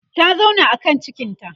ta zauna a kan cikinta